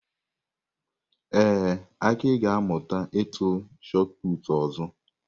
Ee, Aki ga-amụta ịtụ Shot Put ọzọ.